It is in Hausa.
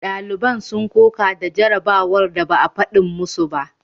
Daliban sun koka da jarabawar da ba a fadin masu ba.